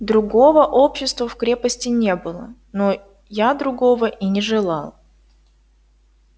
другого общества в крепости не было но я другого и не желал